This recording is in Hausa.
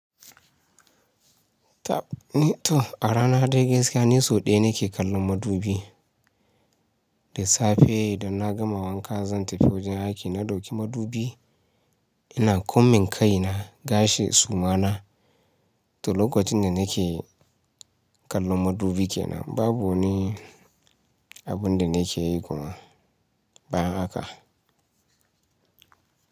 Tab ni to a rana dai gaskiya ni so ɗaya nake kallon madubi. Da safe da na gama wanka zan tafi wajen aiki na dauki madubi. Ina kunmin kai na, gashi, suma na. To lokacin da nake kallon madubi kenan babu ni abin da nake yi kuma bayan haka.